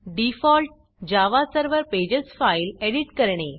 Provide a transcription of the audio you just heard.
default Java server pages file edit करणे